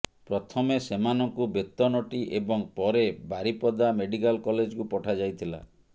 ପ୍ରଥମେ ସେମାନଙ୍କୁ ବେତନଟୀ ଏବଂ ପରେ ବାରିପଦା ମେଡିକାଲ କଲେଜକୁ ପଠାଯାଇଥିଲା